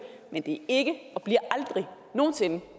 men det er ikke og bliver aldrig nogen sinde